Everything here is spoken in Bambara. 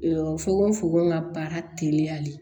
fogofogo ka baara teliya de